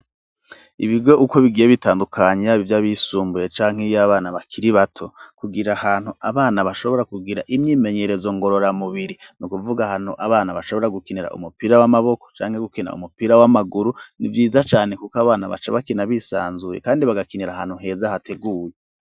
Ibigwe uko bigiye bitandukanyra bivyo bisumbuye canke iyo abana bakiri bato kugira ahantu abana bashobora kugira imyimenyerezo ngorora mubiri ni ukuvuga hantu abana bashobora gukinira umupira w'amaboko canke gukena umupira w'amaguru ni vyiza cane, kuko abana baca bakena bisanzuye, kandi bagakinira ahantu heza hateguye.